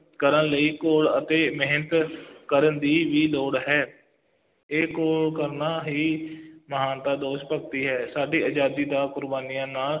ਕਰਨ ਲਈ ਘੋਲ ਅਤੇ ਮਿਹਨਤ ਕਰਨ ਦੀ ਵੀ ਲੋੜ ਹੈ, ਇਹ ਘੋਲ ਕਰਨਾ ਹੀ ਮਹਾਨਤਾ ਦੇਸ਼ ਭਗਤੀ ਹੈ, ਸਾਡੀ ਆਜ਼ਾਦੀ ਦਾ ਕੁਰਬਾਨੀਆਂ ਨਾ